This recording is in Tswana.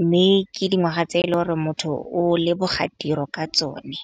mme ke dingwaga tse eleng gore motho o leboga tiro ka tsone.